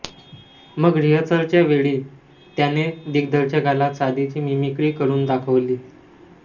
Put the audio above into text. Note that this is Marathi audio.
मग रिहर्सलच्या वेळी त्याने दिग्दर्शकाला साधीशी मिमिक्री करून दाखवली